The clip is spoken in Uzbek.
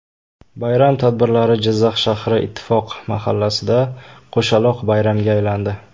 Bayram tadbirlari Jizzax shahri Ittifoq mahallasida qo‘shaloq bayramga aylandi.